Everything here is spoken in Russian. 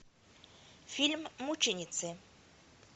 фильм мученицы